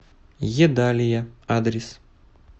едалия адрес